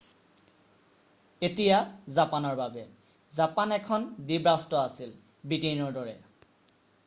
এতিয়া জাপানৰ বাবে৷ জাপান এখন দ্বীপ ৰাষ্ট্ৰ আছিল ব্ৰিটেইনৰ দৰে৷